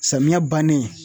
Samiya bannen